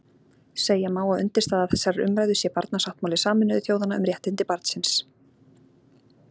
Segja má að undirstaða þessarar umræðu sé Barnasáttmáli Sameinuðu þjóðanna um réttindi barnsins.